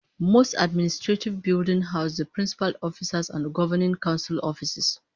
Most administrative buildings house the principal officers and governing council offices